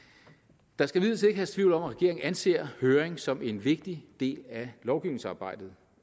der skal herske tvivl om at regeringen anser høring som en vigtig del af lovgivningsarbejdet